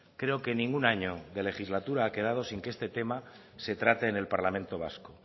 creo que ningún año de legislatura ha quedado sin que este tema se trate en el parlamento vasco